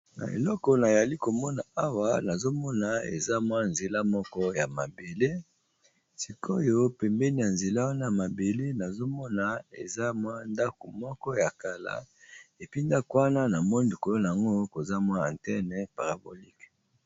Na eleko nayali komona awa nazomona eza mwa nzela moko ya mabele, sikoyo pembeni ya nzela wana mabele nazomona eza mwa ndako moko ya kala, epuis ndako wana na moni likolo nango koza mwa atene parabolique.